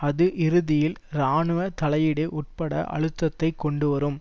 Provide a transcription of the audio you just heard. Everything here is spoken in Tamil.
அது இறுதியில் இராணுவ தலையீடு உட்பட அழுத்தத்தை கொண்டு வரும்